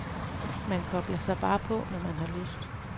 Man kobler sig bare på, når man har lyst.